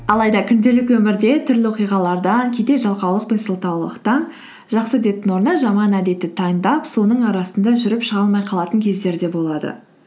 алайда күнделікті өмірде түрлі оқиғалардан кейде жалқаулық пен сылтаулықтан жақсы әдеттің орнына жаман әдетті таңдап соның арасында жүріп шыға алмай қалатын кездер де болады